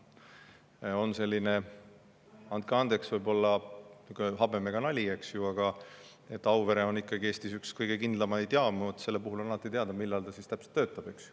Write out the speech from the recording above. On selline, andke andeks, võib-olla habemega nali, eks ju, et Auvere on Eestis üks kõige kindlamaid jaamu, selle puhul on alati teada, millal täpselt ta töötab.